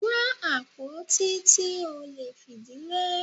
Wá àpótí tí o lè fìdí lé!